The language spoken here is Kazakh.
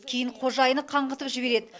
кейін қожайыны қаңғытып жібереді